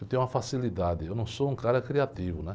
Eu tenho uma facilidade, eu não sou um cara criativo, né?